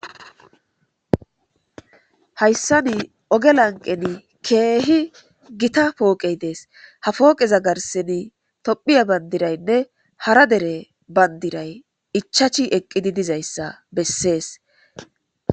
Hayssani oge lanqeni keehi gita pooqey dees ha pooqeza garseni tophiya bandiraynne hara dere bandiray ichachi eqqidi dizayssa bessees.